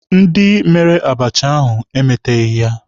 Ndị mere abacha ahụ emeteghị ya.